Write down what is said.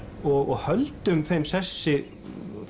og höldum þeim sessi